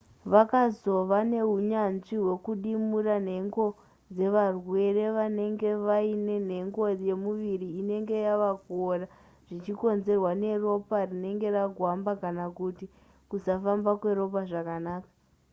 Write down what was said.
vakazova neunyanzvi hwekudimbura nhengo dzevarwere vanenge vaine nhengo yemuviri inenge yava kuora zvichikonzerwa neropa rinenge ragwamba kana kuti kusafamba kweropa zvakanaka